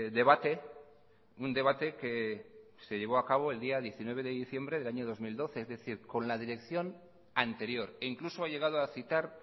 debate un debate que se llevó a cabo el día diecinueve de diciembre del año dos mil doce es decir con la dirección anterior e incluso ha llegado a citar